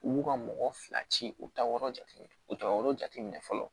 U b'u ka mɔgɔ fila ci u ta yɔrɔ jate u t'a yɔrɔ jate minɛ fɔlɔ